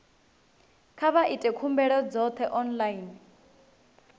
kha vha ite khumbelo dzoṱhe online